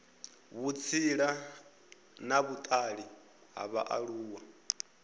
vhutsila na vhutali ha vhaaluwa